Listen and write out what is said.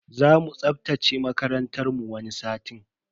Zamu tsaftace makarantar mu wani satin.